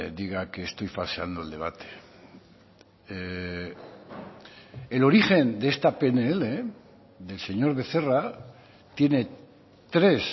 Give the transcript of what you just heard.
diga que estoy falseando el debate el origen de esta pnl del señor becerra tiene tres